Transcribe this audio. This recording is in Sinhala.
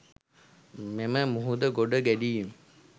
මෙම මුහුද ගොඩ ගැලීම